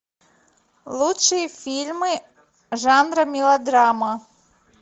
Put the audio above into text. лучшие фильмы жанра мелодрама